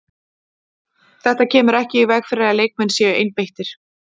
Þetta kemur ekki í veg fyrir að leikmenn séu einbeittir.